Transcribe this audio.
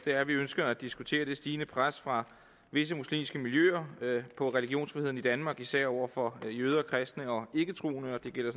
er at vi ønsker at diskutere det stigende pres fra visse muslimske miljøer på religionsfriheden i danmark især over for jøder kristne og ikketroende og det gælder